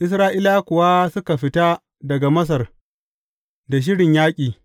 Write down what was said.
Isra’ilawa kuwa suka fita daga Masar da shirin yaƙi.